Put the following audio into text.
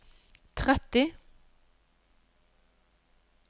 tretti